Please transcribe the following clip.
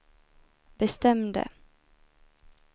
bestämde